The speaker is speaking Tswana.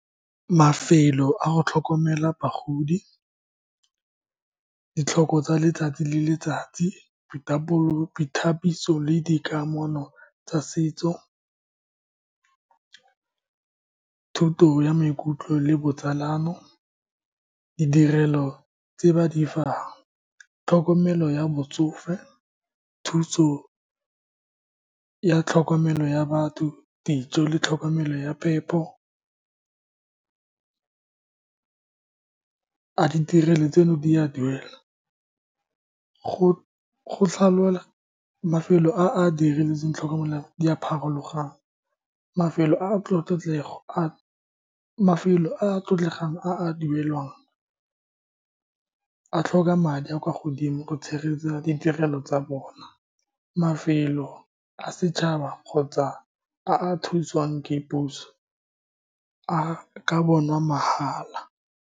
Mafelo a go tlhokomela bagodi, ditlhoko tsa letsatsi le letsatsi, boitapoloso, boithabiso le dikamano tsa setso, thuto ya maikutlo le botsalano. Ditirelo tse ba di fang, tlhokomelo ya botsofe, thuso ya tlhokomelo ya batho, dijo le tlhokomelo ya phepo. A ditirelo tseno di a duela go Mafelo a a diretsweng tlhokomela di a pharologano. Mafelo a a tlotlego a, mafelo a a tlotlegang a a duelwang, a tlhoka madi a a kwa godimo go tshegetsa ditirelo tsa bona. Mafelo a setšhaba kgotsa a a thusiwang ke puso a ka bonwa mahala.